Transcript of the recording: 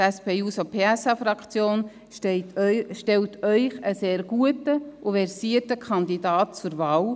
Die SP-JUSO-PSA-Fraktion stellt Ihnen einen sehr guten und versierten Kandidaten zur Wahl.